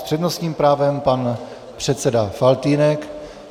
S přednostním právem pan předseda Faltýnek.